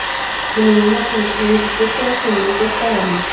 Hann er núna búinn að skrifa undir þriggja ára samning við Skagamenn.